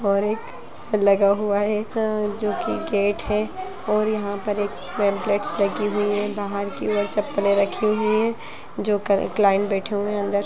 और एक लगा हुआ है एक जो की गेट है और यहाँ पर एक नेम प्लेट्स लगी हुई है बाहर की ओर चप्पले रखी हुई है जो क्लाइंट बैठे हुए हैं अंदर--